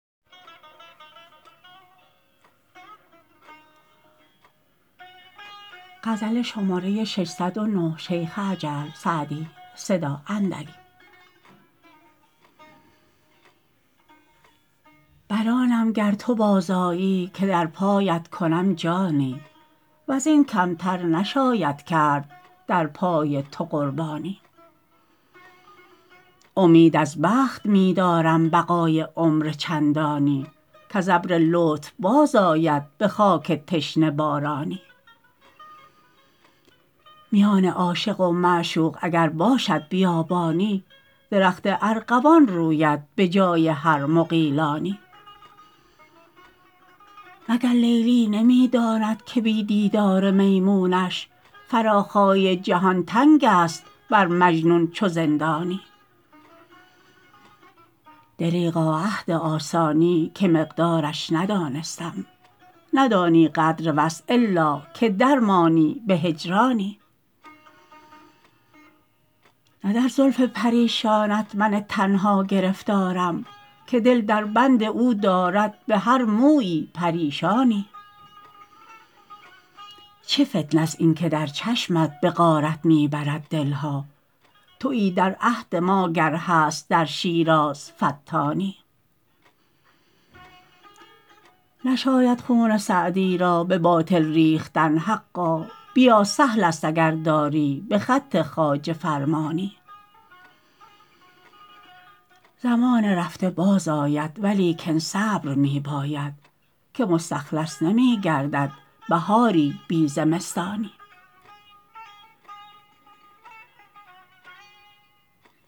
بر آنم گر تو باز آیی که در پایت کنم جانی و زین کم تر نشاید کرد در پای تو قربانی امید از بخت می دارم بقای عمر چندانی کز ابر لطف باز آید به خاک تشنه بارانی میان عاشق و معشوق اگر باشد بیابانی درخت ارغوان روید به جای هر مغیلانی مگر لیلی نمی داند که بی دیدار میمونش فراخای جهان تنگ است بر مجنون چو زندانی دریغا عهد آسانی که مقدارش ندانستم ندانی قدر وصل الا که در مانی به هجرانی نه در زلف پریشانت من تنها گرفتارم که دل در بند او دارد به هر مویی پریشانی چه فتنه ست این که در چشمت به غارت می برد دل ها تویی در عهد ما گر هست در شیراز فتانی نشاید خون سعدی را به باطل ریختن حقا بیا سهل است اگر داری به خط خواجه فرمانی زمان رفته باز آید ولیکن صبر می باید که مستخلص نمی گردد بهاری بی زمستانی